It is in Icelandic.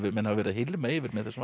menn hafa verið að hylma yfir með þessum